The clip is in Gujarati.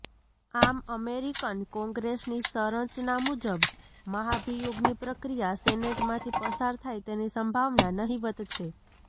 આમ અમેરિકન કોંગ્રેસની સંરચના મુજબ મહાભિયોગની પ્રક્રિયા સેનેટમાંથી પસાર થાય તેની સંભાવના નહીવત છે